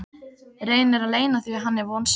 Reynir að leyna því að hann er vonsvikinn.